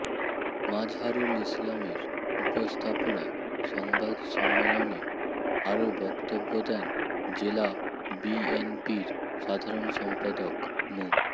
মাজহারুল ইসলামের উপস্থাপনায় সংবাদ সম্মেলনে আরো বক্তব্য দেন জেলা বিএনপির সাধারণ সম্পাদক মো